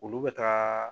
Olu bɛ taa